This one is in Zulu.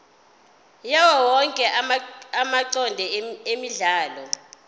yawowonke amacode emidlalo